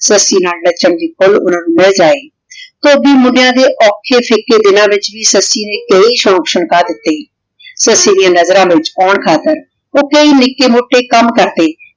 ਸੱਸੀ ਨਾਲ ਨਾਚਾਂ ਦੀ ਖੁਲ ਓਹਨਾਂ ਨੂ ਮਿਲ ਜੇ ਧੋਬੀ ਦੇ ਓਖਾਂ ਦਿਨਾਂ ਦੇ ਵਿਚ ਵੀ ਸੱਸੀ ਨੇ ਈਯ ਸ਼ੋਕ ਸ਼ੰਕਾ ਦਿਤੀ ਸੱਸੀ ਡਿਯਨ ਨਜ਼ਰਾਂ ਵਿਚ ਆਉਣ ਖਾਤਿਰ ਊ ਕਈ ਨਿਕੀ ਮੋਟੇ ਕਾਮ ਕਰਦੇ